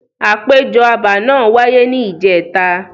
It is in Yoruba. Àpéjọ abà náà wáyé ni ìjẹta.